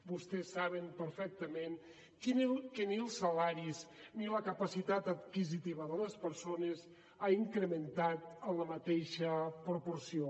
vostès saben perfectament que ni els salaris ni la capacitat adquisitiva de les persones ha incrementat en la mateixa proporció